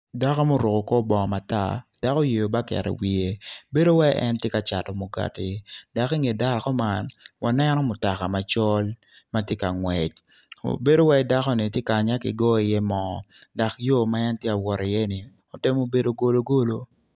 Dako ma oruko kor bongo dok oyeyo baket iwiye bedo iwaci en tye ka cato mugati dok inge dako man waneno mutoka macol ma tye ka ngwec bedo iwaci dakoni ttye kanya kigoyo iye moo dok yo ma en tye ka wot iyeni otemo bedo golo golo.